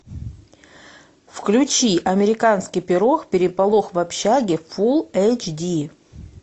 включи американский пирог переполох в общаге фул эйч ди